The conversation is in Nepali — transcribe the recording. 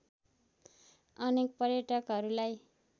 अनेक पर्यटकहरुलाई